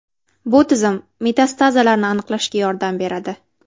Bu tizim metastazlarni aniqlashda yordam beradi.